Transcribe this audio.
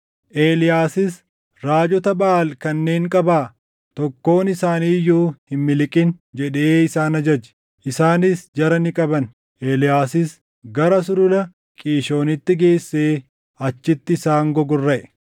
Eeliyaasis, “Raajota Baʼaal kanneen qabaa. Tokkoon isaanii iyyuu hin miliqin!” jedhee isaan ajaje. Isaanis jara ni qaban; Eeliyaasis gara Sulula Qiishoonitti geessee achitti isaan gogorraʼe.